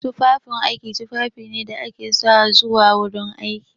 Tufafin aiki tufafi ne da ake sawa zuwa gurin aiki.